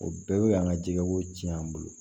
O bɛɛ bɛ an ka jɛgɛ ko tiɲɛ an bolo